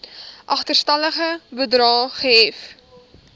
agterstallige bedrae gehef